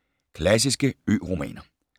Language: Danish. Klassiske ø-romaner